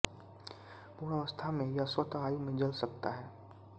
पूर्ण अवस्था में यह स्वत वायु में जल सकता है